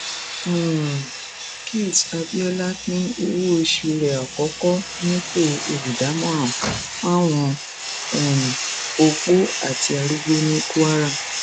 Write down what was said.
um ṣùtẹ abiola pín owóoṣù rẹ àkọkọ nípò olùdámọràn fáwọn um opó àti arúgbó ní kwara